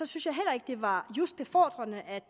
synes jeg heller ikke det var just befordrende at